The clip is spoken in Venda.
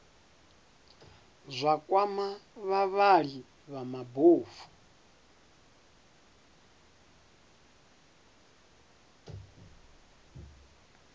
zwa kwama vhavhali vha mabofu